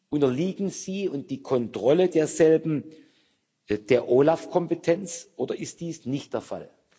Unterliegen sie und die Kontrolle derselben der OLAF Kompetenz, oder ist dies nicht der Fall?